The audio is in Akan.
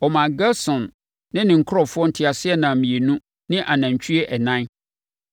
Ɔmaa Gerson ne ne nkurɔfoɔ nteaseɛnam mmienu ne anantwie ɛnan